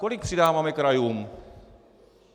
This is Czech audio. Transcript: Kolik přidáváme krajům?